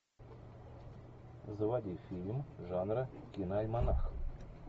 заводи фильм жанра киноальманах